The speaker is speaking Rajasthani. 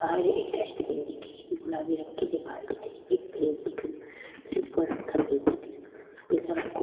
बहार एक डस्टबिन दिखे री गुलाबी रंग की दिवार दिखे री फ्रिज को रंग सफ़ेद दिखे रो पीला रंग को --